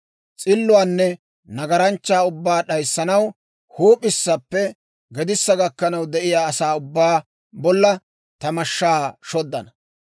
S'illuwaanne nagaranchchaa ubbaa d'ayssanaw huup'issappe gedissa gakkanaw de'iyaa asaa ubbaa bolla ta mashshaa shodana.